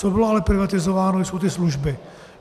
Co bylo ale privatizováno, jsou ty služby.